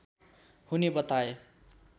हुने बताए